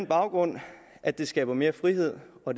baggrund af at det skaber mere frihed og